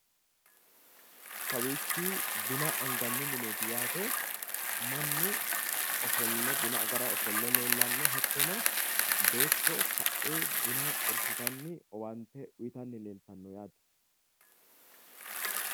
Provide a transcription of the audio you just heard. Kawiichi buna anganni mineeti yaate, mannu ofolle buna agara ofolle leellanno. Hattono beetto kae buna xorshitanni owaante uyitanni leeltanno yaate.